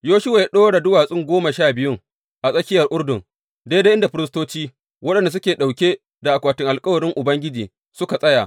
Yoshuwa ya ɗora duwatsu goma sha biyun a tsakiyar Urdun daidai inda firistoci waɗanda suke ɗauke da akwatin alkawarin Ubangiji suka tsaya.